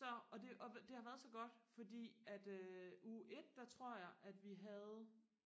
så og det og det har været så godt fordi at øh uge et der tror jeg at vi havde